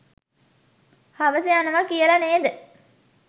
හවස යනව කියල නේද?